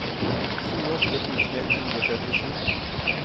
tjueåtte tusen ett hundre og trettisju